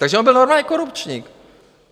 Takže on byl normálně korupčník.